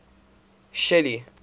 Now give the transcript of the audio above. shelly